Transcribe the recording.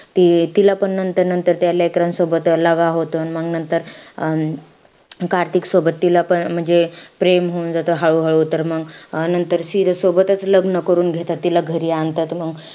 ती तिलापण नंतर-नंतर त्या लेकरांसोबत होतो. अन मंग नंतर अं कार्तिकसोबत तिला पण म्हणजे अं प्रेम होऊन जातं हळू-हळू. तर मंग नंतर सिरत सोबतचं लग्न करून घेतात. तिला घरी आणतात मंग.